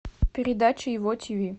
передача его тв